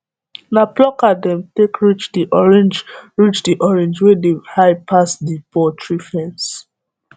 na plucker dem take reach the orange reach the orange wey dey high pass the poultry fence